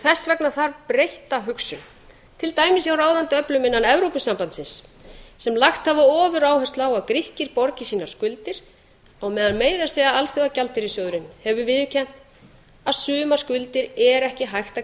þess vega þarf breytta hugsun til dæmis hjá ráðandi öflum innan evrópusambandsins sem lagt hafa ofuráherslu á að grikkir borgi sínar skuldir á meira að segja alþjóðagjaldeyrissjóðurinn hefur viðurkennt að suma skuldir er ekki hægt að